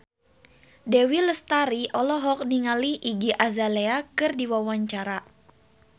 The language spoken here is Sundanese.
Dewi Lestari olohok ningali Iggy Azalea keur diwawancara